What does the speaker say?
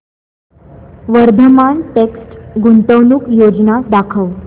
Vardhman text गुंतवणूक योजना दाखव